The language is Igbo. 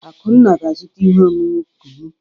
Akunna ga-azụta ihe ọṅụṅụ kunu.